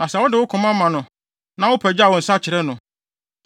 “Na sɛ wode wo koma ma no na wopagyaw wo nsa kyerɛ no,